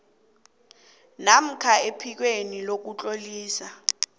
namkha ephikweni lokutlolisa